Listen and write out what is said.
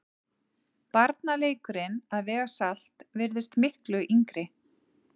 Barnaleikurinn að vega salt virðist miklu yngri.